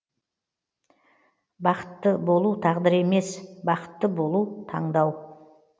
бақытты болу тағдыр емес бақытты болу таңдау